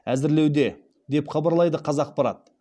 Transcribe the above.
әзірлеуде деп хабарлайды қазақпарат